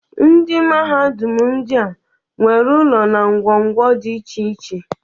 Ndị mahadum ndịa nwere ụlọ na ngwo ngwo dị iche iche.